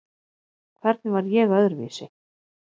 Hvernig var ég öðruvísi?